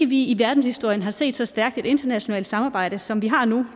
vi i verdenshistorien har set et så stærkt internationalt samarbejde som vi har nu